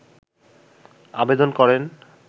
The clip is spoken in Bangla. আবেদন করেন